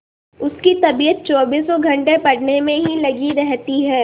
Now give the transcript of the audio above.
उसकी तबीयत चौबीसों घंटे पढ़ने में ही लगी रहती है